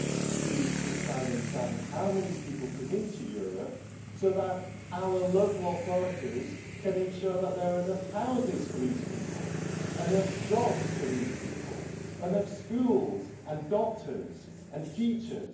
to decide on exactly how many people come into Europe so that our local authorities can ensure that there are enough houses for these people, enough jobs for these people, enough schools and doctors and teachers.